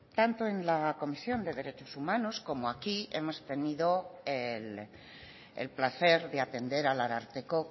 tanto en la comisión de derechos humanos como aquí hemos tenido el placer de atender al ararteko